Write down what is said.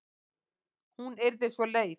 Hún yrði svo leið.